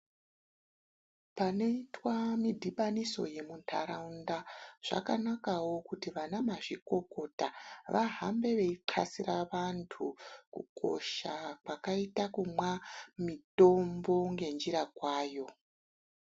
Panoitwa mudhibaniso yemuntaraunda zvakanakawo kuti vana mazvikokota vahambe veithasira antu kukosha kwakaita kumwa mutombo ngenjira kwayo.